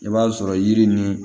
I b'a sɔrɔ yiri ni